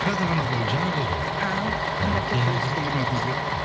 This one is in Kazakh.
қазір ғана қойылды ғой жаңа болды ғой а сол сіздің құрметіңізге